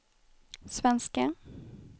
svenske